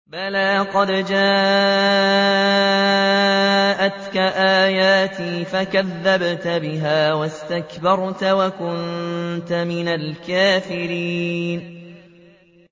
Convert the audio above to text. بَلَىٰ قَدْ جَاءَتْكَ آيَاتِي فَكَذَّبْتَ بِهَا وَاسْتَكْبَرْتَ وَكُنتَ مِنَ الْكَافِرِينَ